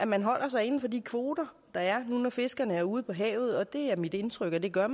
man holder sig inden for de kvoter der er nu når fiskerne er ude på havet det er mit indtryk at de gør